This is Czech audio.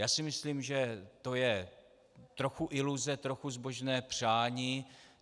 Já si myslím, že to je trochu iluze, trochu zbožné přání.